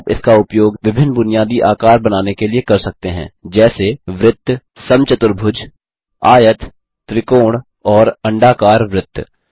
आप इसका उपयोग विभिन्न बुनियादी आकार बनाने के लिए कर सकते हैं जैसे वृत्त समचतुर्भुजस्क्वायर आयत त्रिकोण और अंडाकार वृत्त